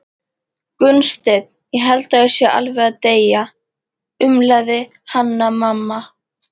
Gunnsteinn, ég held ég sé alveg að deyja, umlaði Hanna-Mamma.